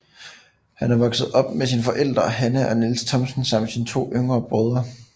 Han er vokset op med sine forældre Hanne og Niels Thomsen samt sine to yngre brødre